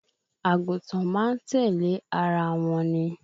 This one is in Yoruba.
Àgùntàn máa ń tẹ̀lẹ́ ara wọn ni